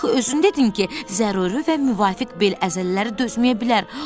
Axı özün dedin ki, zəruri və müvafiq bel əzələləri dözməyə bilər.